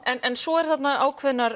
en svo eru þarna ákveðnir